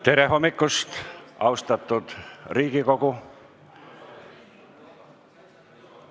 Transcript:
Tere hommikust, austatud Riigikogu!